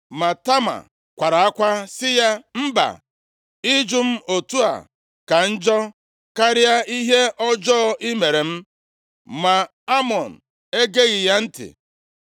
Ma Tama kwara akwa sị ya, “Mba! Ịjụ m otu a ka njọ karịa ihe ọjọọ i mere m.” Ma Amnọn egeghị ya ntị.